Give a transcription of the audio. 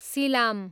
सिलाम